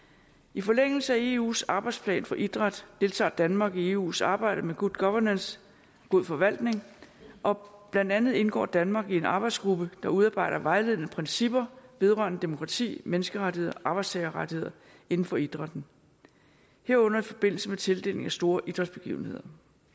i forlængelse af eus arbejdsplan for idræt deltager danmark i eus arbejde med good governance god forvaltning og blandt andet indgår danmark i en arbejdsgruppe der udarbejder vejledende principper vedrørende demokrati menneskerettigheder og arbejdstagerrettigheder inden for idrætten herunder i forbindelse med tildeling af store idrætsbegivenheder